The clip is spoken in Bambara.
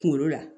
Kunkolo la